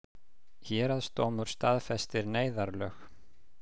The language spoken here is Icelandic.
Héraðsdómur staðfestir neyðarlög